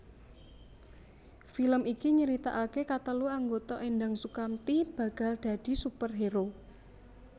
Film iki nyeritakake katelu anggota Endang Soekamti bakal dadi superhero